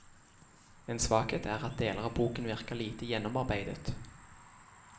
En svakhet er at deler av boken virker lite gjennomarbeidet.